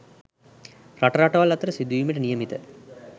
රට රටවල් අතර සිදුවීමට නියමිත